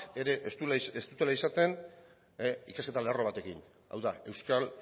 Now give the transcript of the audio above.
ere ez dutela izaten ikasketa lerro batekin hau da euskal